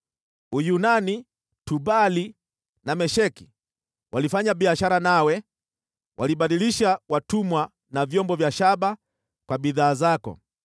“ ‘Uyunani, Tubali na Mesheki, walifanya biashara nawe, walibadilisha watumwa na vyombo vya shaba kwa bidhaa zako.